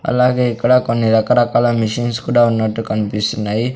అలాగే ఇక్కడ కొన్ని రకరకాల మిషన్స్ కూడా ఉన్నట్టు కనిపిస్తున్నాయి.